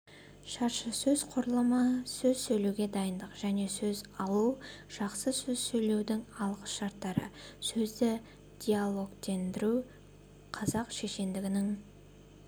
шаршысөз құрылымы сөз сөйлеуге дайындық және сөз алу жақсы сөз сөйлеудің алғышарттары сөзді диалогтендіру қазақ шешендігінің